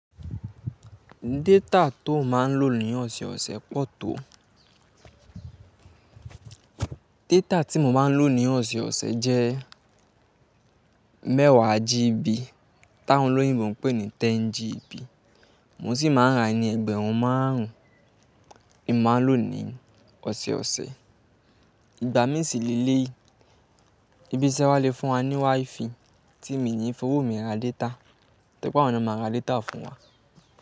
Data tó máa ń lò ní ọ̀sọ̀ọ̀sẹ̀ pọ̀ tó. Data tí mo máa ń lò ní ọ̀sọ̀ọ̀sẹ̀ jẹ́ mẹ́wàá GB. Tá won oloyinbo ń pè ní 10GB. Mo sì máa ń ra ni ẹgbẹ̀rún márùn-ún ni mo máa ń lò ní ọ̀sọ̀ọ̀sẹ̀. Ìgbà mí sì le yi ìbí isẹ́ wa le fún wa ní WiFi tí mi ni fowó mi ra data. Tẹ́ je pe, awọ́n na máa ra data fún wa.